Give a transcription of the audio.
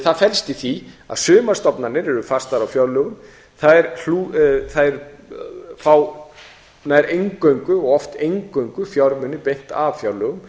það felst í því að sumar stofnanir eru fastar á fjárlögum þær fá nær eingöngu og oft eingöngu fjármuni beint af fjárlögum